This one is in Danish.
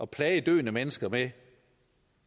plage døende mennesker med